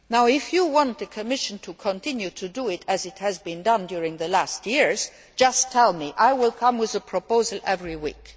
If you want the Commission to continue to do as has been done over the last number of years, just tell me, and I will come with a proposal every week.